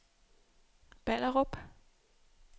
Ballerup